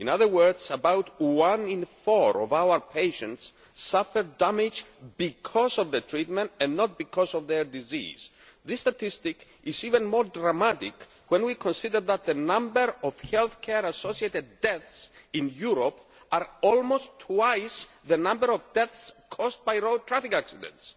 In other words, about one in four of our patients suffer damage because of the treatment and not because of their disease. This statistic is even more dramatic when we consider that the number of health care associated deaths in Europe is almost twice the number of deaths caused by road traffic accidents.